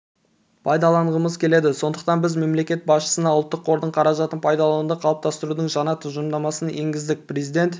пайдаланғымыз келеді сондықтан біз мемлекет басшысына ұлттық қордың қаражатын пайдалануды қалыптастырудың жаңа тұжырымдамасын енгіздік президент